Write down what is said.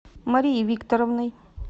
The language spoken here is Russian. марией викторовной